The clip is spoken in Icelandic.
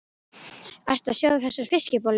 Ertu að sjóða þessar fiskbollur?